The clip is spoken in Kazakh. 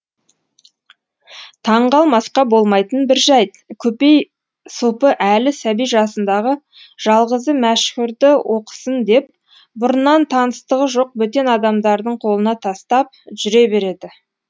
таңғалмасқа болмайтын бір жайт көпей сопы әлі сәби жасындағы жалғызы мәшһүрді оқысын деп бұрыннан таныстығы жоқ бөтен адамдардың қолына тастап жүре береді